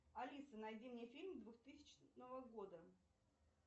алиса найди мне фильм двухтысячного года